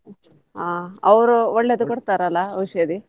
ಆಹ್ ಅವ್ರು ಒಳ್ಳೇದು ಕೊಡ್ತಾರಲ್ಲ ಔಷಧಿ?